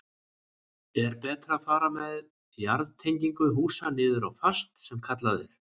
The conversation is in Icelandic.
Er betra að fara með jarðtengingu húsa niður á fast sem kallað er?